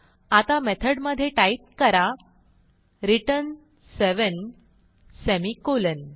आता मेथडमधे टाईप करा रिटर्न सेवेन सेमिकोलॉन